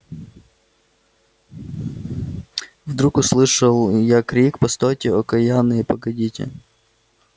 вдруг услышал я крик постойте окаянные погодите